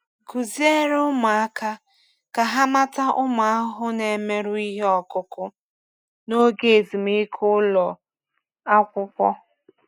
Kụziere ụmụaka ka ha mata ụmụ ahụhụ na-emerụ ihe ọkụkụ n’oge ezumike ụlọ akwụkwọ.